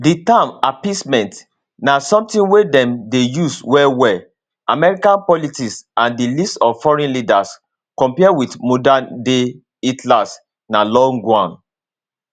di term appeasement na sometin wey dem dey use wellwell american politics and di list of foreign leaders compare wit modernday hitlers na long one